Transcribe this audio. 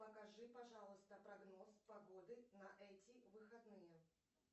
покажи пожалуйста прогноз погоды на эти выходные